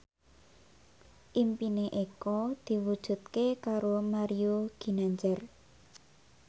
impine Eko diwujudke karo Mario Ginanjar